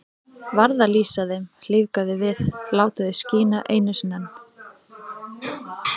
Varð að lýsa þeim, lífga þau við, láta þau skína einu sinni enn.